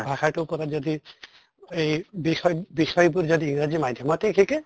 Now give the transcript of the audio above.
ভাষাটোৰ পৰা যদি এই বিষয় বিষয়্বোৰ যদি ইংৰাজী মাধ্য়মতে শিকে